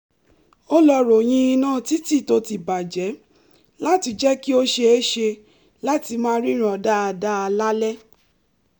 ó lọ ròyìn iná títì tó ti bà jẹ́ láti jẹ́ kí ó ṣeéṣe láti máa ríran dáadáa lálẹ́